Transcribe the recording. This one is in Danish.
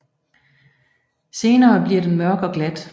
Senere bliver den mørk og glat